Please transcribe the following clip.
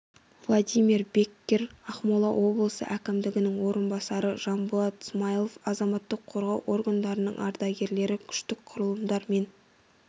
владимир беккер ақмола облысы әкімінің орынбасары жанболат смаилов азаматтық қорғау органдарының ардагерлері күштік құрылымдар мен